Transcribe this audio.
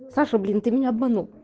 саша блин ты меня обманул